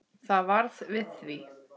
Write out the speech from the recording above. Það varð við því.